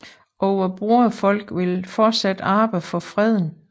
Og vort broderfolk vil fortsat arbejde for freden